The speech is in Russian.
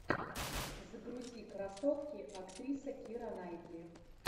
загрузи красотки актриса кира найтли